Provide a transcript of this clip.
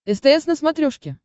стс на смотрешке